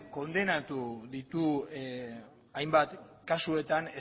kondenatu ditu hainbat kasuetan